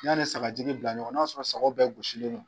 N'a ni sagajigi bila ɲɔgɔnna n'a sɔrɔ sagow bɛɛ gosisilen don.